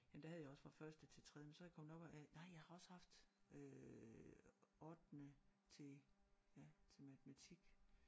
Jamen der havde jeg også fra første til tredje men så er jeg kommet op og have nej jeg har også haft øh ottende til ja til matematik